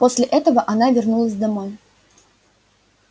после этого она вернулась домой